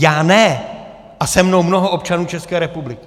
Já ne a se mnou mnoho občanů České republiky.